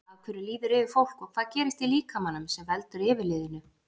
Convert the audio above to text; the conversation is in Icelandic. Af hverju líður yfir fólk og hvað gerist í líkamanum sem veldur yfirliðinu?